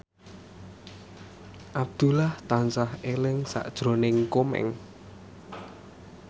Abdullah tansah eling sakjroning Komeng